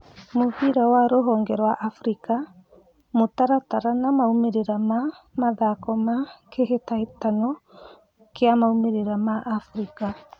Mũbira wa rũhonge rwaAfrika: mũtaratara na maumĩrĩra ma mathako ma kĩhĩtahĩtano kĩa mabũrũri ma Afrika